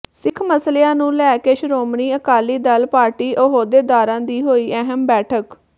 ਸਿੱਖ ਮਸਲਿਆਂ ਨੂੰ ਲੈ ਕੇ ਸ਼ੋ੍ਰਮਣੀ ਅਕਾਲੀ ਦਲ ਪਾਰਟੀ ਅਹੁਦੇਦਾਰਾਂ ਦੀ ਹੋਈ ਅਹਿਮ ਬੈਠਕ